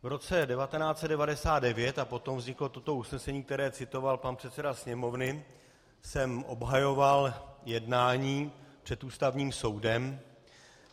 V roce 1999, a potom vzniklo toto usnesení, které citoval pan předseda Sněmovny, jsem obhajoval jednání před Ústavním soudem.